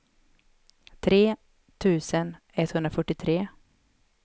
tre tusen etthundrafyrtiotre